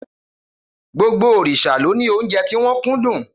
Gbogbo òrìṣà ló ní óúnjẹ tí wọ́n kúndùn.